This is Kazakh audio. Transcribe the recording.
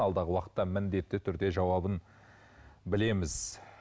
алдағы уақытта міндетті түрде жауабын білеміз